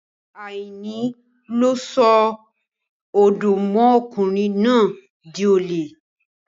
Àìní ló sọ Ọ̀dọ́mọkùnrin náà di olè.